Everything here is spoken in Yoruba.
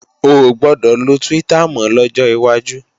Ò gbọdọ̀ lo Twitter mọ́ lọ́jọ́ wájú!